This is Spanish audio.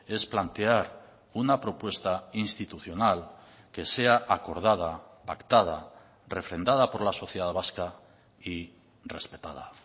es plantear una propuesta institucional que sea acordada pactada refrendada por la sociedad vasca y respetada